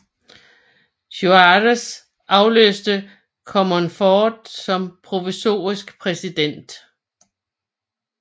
Juárez afløste Comonfort som provisorisk præsident